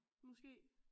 Måske